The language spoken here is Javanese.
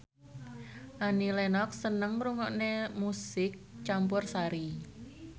Annie Lenox seneng ngrungokne musik campursari